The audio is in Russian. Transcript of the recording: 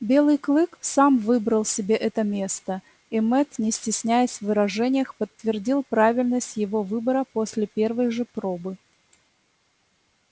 белый клык сам выбрал себе это место и мэтт не стесняясь в выражениях подтвердил правильность его выбора после первой же пробы